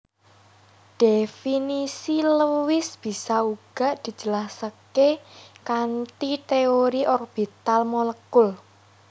Dhéfinisi Lewis bisa uga dijelasaké kanthi téori orbital molekul